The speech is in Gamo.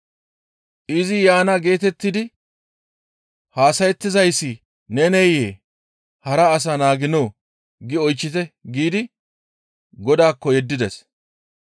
«Izi yaana geetettidi haasayettizayssi neneyee? Hara as naaginoo? gi oychchite» giidi Godaakko yeddides.